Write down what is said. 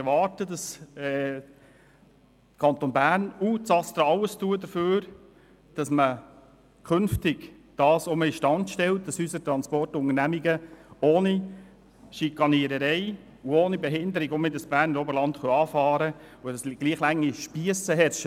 Ich erwarte, dass das ASTRA alles unternimmt, damit unsere Transportunternehmungen das Berner Oberland künftig ohne schikaniert zu werden und ohne Behinderung wieder anfahren können, damit gleich lange Spiesse herrschen.